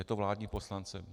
Je to vládní poslanec.